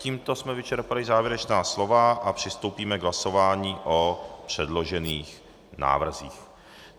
Tímto jsme vyčerpali závěrečná slova a přistoupíme k hlasování o předložených návrzích.